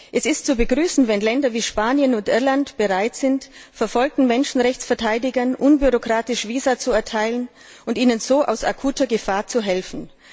Es ist zu begrüßen, dass Länder wie Spanien und Irland bereit sind, verfolgten Menschenrechtsverteidigern unbürokratisch Visa zu erteilen und ihnen so aus akuter Gefahr zu helfen.